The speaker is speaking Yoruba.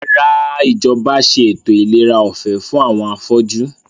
Rárá, Ìjọba ṣe ètò ìlera ọ̀fẹ́ fún àwọn afọ́jú